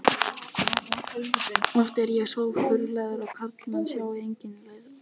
Oft er þöggunin svo þrúgandi að karlmenn sjá enga leið út nema stytta sér aldur.